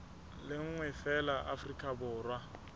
le nngwe feela afrika borwa